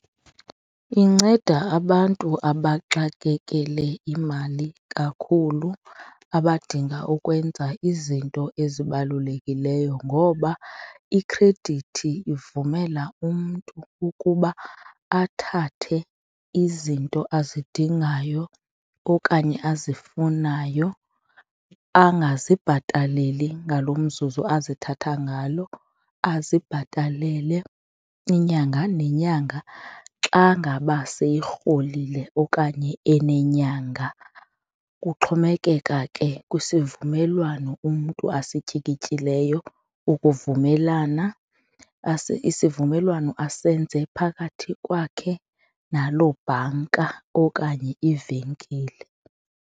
Inceda abantu abaxakekele imali kakhulu, abadinga ukwenza izinto ezibalulekileyo ngoba ikhredithi ivumela umntu ukuba athathe izinto azidingayo okanye azifunayo angazibhataleli ngalo mzuzu azithathe ngalo, azibhatalele inyanga nenyanga xa ngaba soyirholile okanye enenyanga. Kuxhomekeka ke kwisivumelwano umntu asityikityileyo ukuvumelana naso isivumelwano asenze phakathi kwakhe naloo bhanka okanye iivenkile.